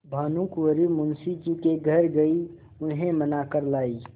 भानुकुँवरि मुंशी जी के घर गयी उन्हें मना कर लायीं